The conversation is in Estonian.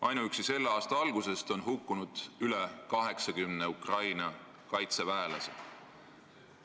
Ainuüksi selle aasta algusest on hukkunud üle 80 Ukraina kaitseväelase.